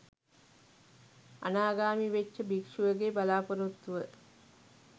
අනාගාමී වෙච්ච භික්ෂුවගේ බලාපොරොත්තුව